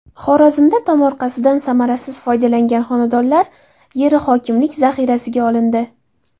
Xorazmda tomorqasidan samarasiz foydalangan xonadonlar yeri hokimlik zaxirasiga olindi.